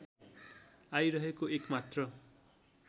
आइरहेको एक मात्र